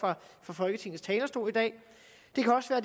fra folketingets talerstol i dag det kan også være